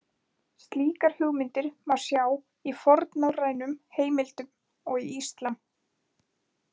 Slíkar hugmyndir má sjá í fornnorrænum heimildum og í Íslam.